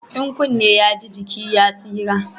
In kunne ya ji, jiki ya tsira